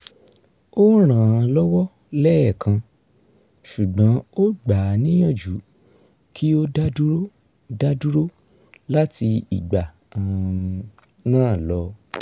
o ràn án lọ́wọ́ lẹ́ẹ̀kan ṣugbọn ó gbà á níyàjú kí ó dádúró dádúró lati ìgbà um náà lọ